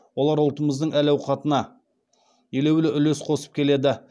олар ұлтымыздың әл ауқатына елеулі үлес қосып келеді